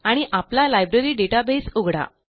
आणि आपला लायब्ररी databaseउघडा